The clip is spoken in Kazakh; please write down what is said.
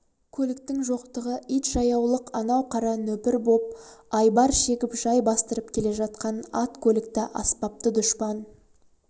көліктің жоқтығы ит жаяулық анау қара нөпір боп айбар шегіп жай бастырып келе жатқан ат көлікті аспапты дұшпан